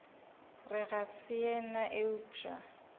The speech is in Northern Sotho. re ga se yena eupša